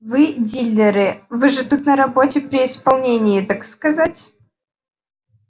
вы дилеры вы же тут на работе при исполнении так сказать